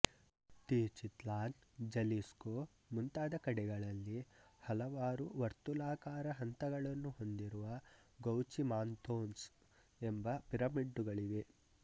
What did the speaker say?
Teuchitlan Jalisco ಮುಂತಾದ ಕಡೆಗಳಲ್ಲಿ ಹಲವಾರು ವರ್ತುಲಾಕಾರ ಹಂತಗಳನ್ನು ಹೊಂದಿರುವ ಗೌಚಿಮಾನ್ತೋನ್ಸ್ ಎಂಬ ಪಿರಮಿಡ್ಡುಗಳು ಇವೆ